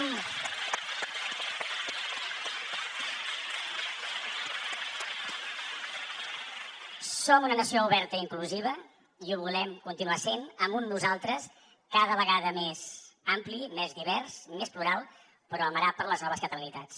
som una nació oberta i inclusiva i ho volem continuar sent amb un nosaltres cada vegada més ampli més divers més plural però amarat de les noves catalanitats